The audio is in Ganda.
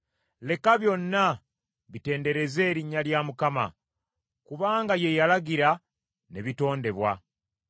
Leka byonna bitendereze erinnya lya Mukama ! Kubanga ye yalagira, ne bitondebwa.